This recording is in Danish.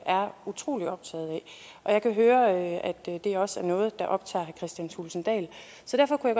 er utrolig optaget af og jeg kan høre at det også er noget der optager kristian thulesen dahl så derfor kunne